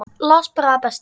Las bara það besta.